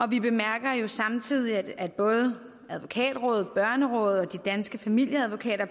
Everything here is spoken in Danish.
vi bemærker jo samtidig at både advokatrådet børnerådet og danske familieadvokater